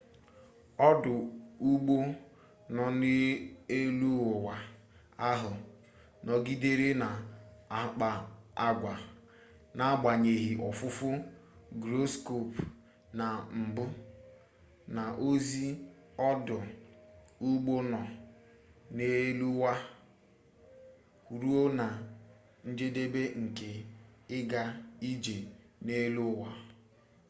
ọdụ ụgbọ nọ n'eluụwa ahụ nọgidere na-akpa agwa n'agbanyeghị ofufu gyroscope na mbụ na ozi ọdụ ụgbọ nọ n'eluụwa ruo na njedebe nke ịga ije n'elu ụwa